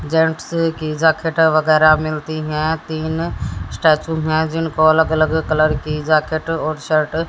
gents की jacket वगैरह मिलती है तीन स्टैचू हैं जिनको अलग अलग कलर की जैकेट और शर्ट --